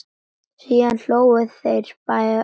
Síðan hlógu þeir báðir.